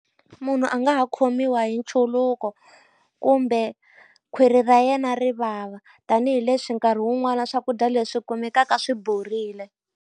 Munhu a nga ha khomiwa hi nchuluko kumbe khwiri ra yena ri vava, tanihileswi nkarhi wun'wani na swakudya leswi kumekaka swi borile.